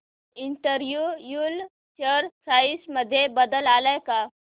Andrew Yule share price मध्ये बदल आलाय का